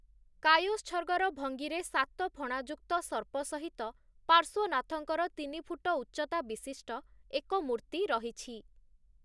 କାୟୋତ୍ସର୍ଗର ଭଙ୍ଗୀରେ ସାତ ଫଣାଯୁକ୍ତ ସର୍ପ ସହିତ ପାର୍ଶ୍ୱନାଥଙ୍କର ତିନିଫୁଟ ଉଚ୍ଚତା ବିଶିଷ୍ଟ ଏକ ମୂର୍ତ୍ତି ରହିଛି ।